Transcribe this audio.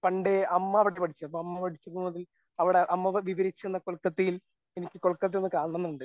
പണ്ടേ അമ്മ അവിടെ പഠിച്ചേ. അപ്പോ അമ്മ അവിടെ അമ്മ പഠിച്ചിരുന്നത് അവിടെ അമ്മ വിവരിച്ചു തന്ന കൊൽക്കത്തയിൽ എനിക്ക് കൊൽക്കത്ത ഒന്ന് കാണണം എന്നുണ്ട്.